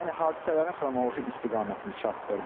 Yəni hadisələrin xronoloji istiqamətini çatdırdıq.